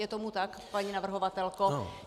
Je tomu tak, paní navrhovatelko?